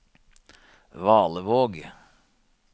Valevåg